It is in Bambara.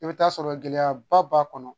I bɛ t'a sɔrɔ gɛlɛyaba b'a kɔnɔ